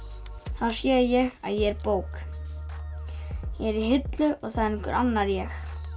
þá sé ég að ég er bók ég er í hillu og það er einhver annar ég